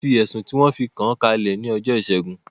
Wọ́n fi ẹ̀sùn tí wọn fi kàán kalẹ̀ ní ọjọ́ ìṣẹ́gun